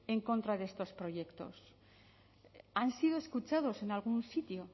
en contra de estos proyectos han sido escuchados en algún sitio